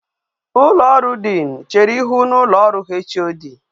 ulo oru dean chere ihu na ulo oru Hod